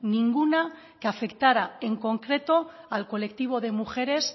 ninguna que afectara en concreto al colectivo de mujeres